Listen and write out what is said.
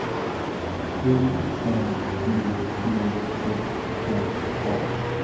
I N D I S K A